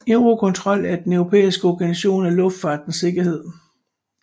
Eurocontrol er den europæiske Organisation for Luftfartens Sikkerhed